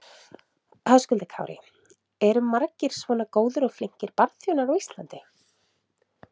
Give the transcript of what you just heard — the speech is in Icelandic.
Höskuldur Kári: Eru margir svona góðir og flinkir barþjónar á Íslandi?